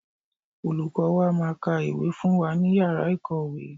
Olùkọ́ọ wa máa ka ìwé fún wa ní Yàrá ìkọ́ọ̀wé.